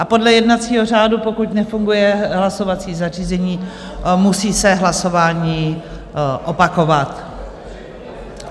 A podle jednacího řádu, pokud nefunguje hlasovací zařízení, musí se hlasování opakovat.